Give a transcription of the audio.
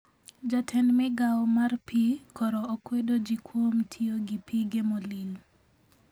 Jatend migao mar pii koro okwedo ji kwom tiyo gi pige molil